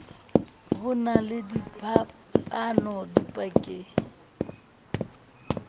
ho na le phapano dipakeng